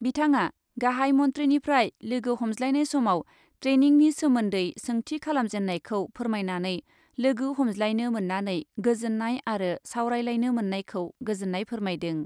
बिथाङा गाहाइ मन्थ्रिनिफ्राय लोगो हमज्लायनाय समाव ट्रेनिंनि सोमोन्दै सोंथि खालामजेन्नायखौ फोरमायनानै लोगो हमज्लायनो मोन्नानै गोजोन्नाय आरो सावरायलायनो मोन्नायखौ गोजोन्नाय फोरमायदों।